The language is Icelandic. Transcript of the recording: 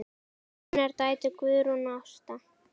Þínar dætur, Guðrún og Ása.